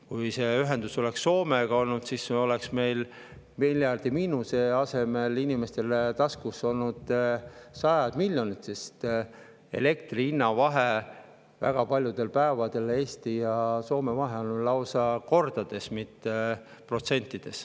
Kui see ühendus oleks Soomega olnud, siis oleks meil miljardilise miinuse asemel inimeste taskus olnud sajad miljonid, sest Eesti ja Soome elektri hinna vahe on väga paljudel päevadel lausa kordades, mitte protsentides.